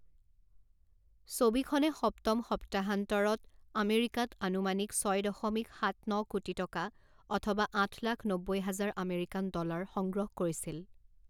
ছবিখনে সপ্তম সপ্তাহান্তৰত আমেৰিকাত আনুমানিক ছয় দশমিক সাত ন কোটি টকা অথবা আঠ লাখ নব্বৈ হাজাৰ আমেৰিকান ডলাৰ সংগ্ৰহ কৰিছিল।